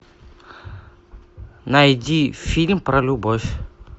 найди фильм про любовь